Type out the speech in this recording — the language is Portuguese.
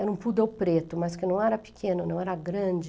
Era um poodle preto, mas que não era pequeno, não era grande.